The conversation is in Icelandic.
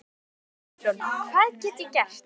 Ómar Kristjánsson: Hvað get ég gert?